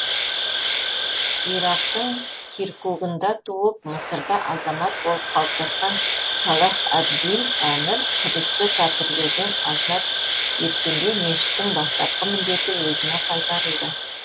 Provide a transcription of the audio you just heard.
ирактың киркугында туып мысырда азамат болып қалыптасқан салах әд дин әмір құдысты кәпірлерден азат еткенде мешіттің бастапқы міндеті өзіне қайтарылды